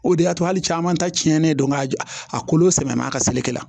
O de y'a to hali caman ta cɛnnen don a kolo samiya ka selekɛ la